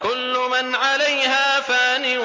كُلُّ مَنْ عَلَيْهَا فَانٍ